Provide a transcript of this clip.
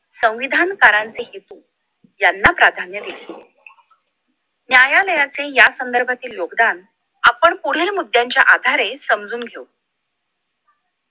संविधानकारांचे हेतू यांना प्राधान्य दिले न्यायालयाचे या संदर्भातील योगदान आपण पुढील मुद्द्यांच्या आधारे समजून घेऊ या साठी